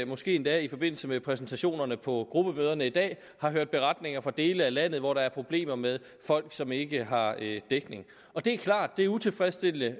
måske endda i forbindelse med præsentationerne på gruppemøderne i dag har hørt beretninger fra dele af landet hvor der er problemer med folk som ikke har dækning det er klart at det er utilfredsstillende